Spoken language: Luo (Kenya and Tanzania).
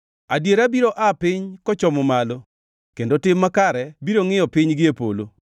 Adiera biro aa piny kochomo malo, kendo tim makare biro ngʼiyo piny gie polo.